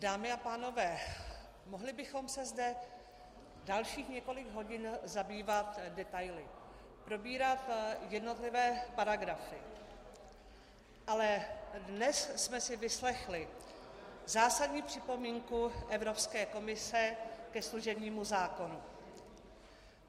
Dámy a pánové, mohli bychom se zde dalších několik hodin zabývat detaily, probírat jednotlivé paragrafy, ale dnes jsme si vyslechli zásadní připomínku Evropské komise ke služebnímu zákonu.